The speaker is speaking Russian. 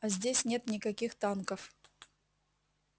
а здесь нет никаких танков